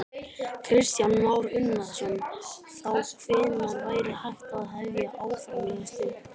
Kristján Már Unnarsson: Þá hvenær væri hægt að hefja álframleiðslu?